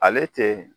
Ale tɛ